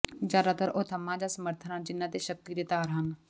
ਜਿਆਦਾਤਰ ਉਹ ਥੰਮ੍ਹਾਂ ਜਾਂ ਸਮਰਥਨ ਹਨ ਜਿਨ੍ਹਾਂ ਤੇ ਸ਼ਕਤੀ ਦੇ ਤਾਰ ਹਨ